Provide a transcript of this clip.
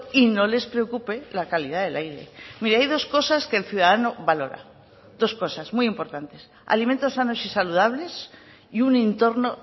y no les preocupe la calidad del aire mire hay dos cosas que el ciudadano valora dos cosas muy importantes alimentos sanos y saludables y un entorno